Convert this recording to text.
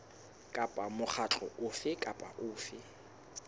kapa mokgatlo ofe kapa ofe